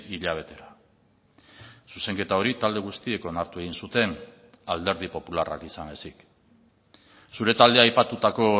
hilabetera zuzenketa hori talde guztiek onartu egin zuten alderdi popularrak izan ezik zure taldea aipatutako